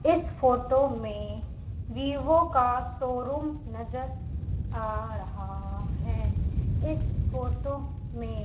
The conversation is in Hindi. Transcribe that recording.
इस फोटो में विवो का शोरूम नजर आ रहा है इस फोटो में--